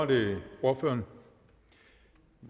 det gør